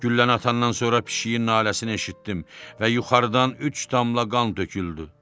Gülləni atandan sonra pişiyin naləsini eşitdim və yuxarıdan üç damla qan töküldü.